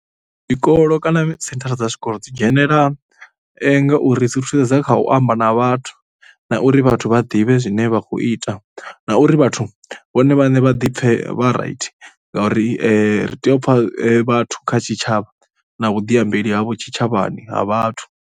Tshikolo kana senthara dza tshikolo dzi dzhenela ngauri dzi ri thusedza kha u amba na vhathu na uri vhathu vha ḓivhe zwine vha khou ita. Na uri vhathu vhone vhaṋe vha ḓi pfhe vha right ngauri ri tea u pfha vhathu kha tshitshavha na vhuḓiambeli havho tshitshavhani ha vhathu.